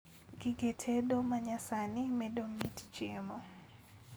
Gige tedo manyasani medo mit chiemo